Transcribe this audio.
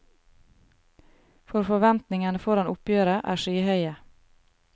For forventningene foran oppgjøret er skyhøye.